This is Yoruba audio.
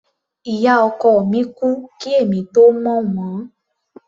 Ìyá ọkọ mi kú kí èmi tó mọ̀ wọ́n.